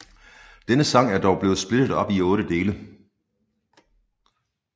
Denne sang er dog blevet splittet op i otte dele